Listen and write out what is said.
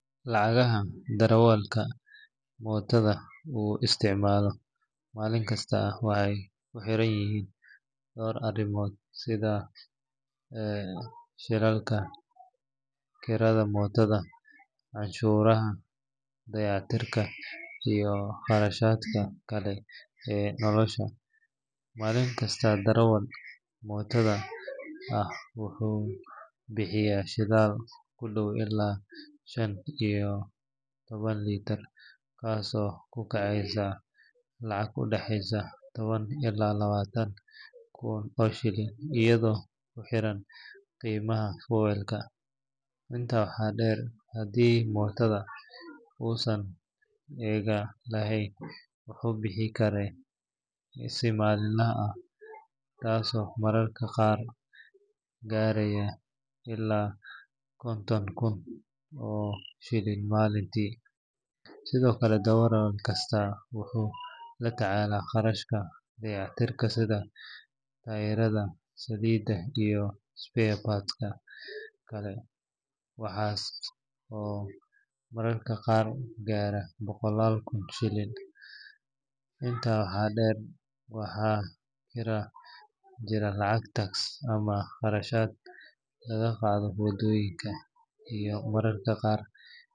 Lacagaha darawalka mootada uu isticmaalo maalinkasta waxay ku xiran yihiin dhowr arrimood sida shidaalka, kirada mootada, cashuuraha, dayactirka iyo kharashaadka kale ee nolosha. Maalin kasta darawal mootada ah wuxuu bixiyaa shidaal ku dhow ilaa shan ilaa toddoba litir taasoo ku kacaysa lacag u dhaxaysa toban ilaa labaatan kun oo shilin iyadoo ku xiran qiimaha fuel-ka. Intaa waxaa dheer, haddii mootada uusan isaga lahayn, wuxuu bixiyaa kire si maalinle ah ah, taasoo mararka qaar gaaraysa ilaa konton kun oo shilin maalintii. Sidoo kale darawal kasta wuxuu la tacaalaa kharashka dayactirka sida taayirada, saliidda iyo spare parts-ka kale, kuwaas oo mararka qaar gaara boqollaal kun bishii. Intaa waxaa dheer, waxaa jira lacagaha tax ama kharashaadka laga qaado waddooyinka iyo mararka qaar.